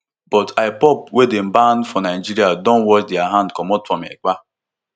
but ipob wey dey banned for nigeria don wash dia hand comot from ekpa